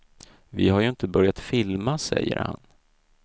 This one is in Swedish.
Vi har ju inte börjat filma, säger han.